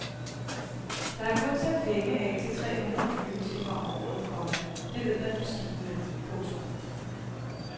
Der er kun sat penge af til tre hundrede flyvetimer om året, komma det ved man på skibene. punktum